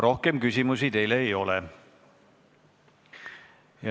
Rohkem küsimusi teile ei ole.